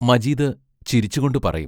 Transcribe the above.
മജീദ് ചിരിച്ചുകൊണ്ടു പറയും